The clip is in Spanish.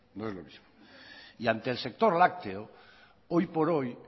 no es lo mismo ante el sector lácteo hoy por hoy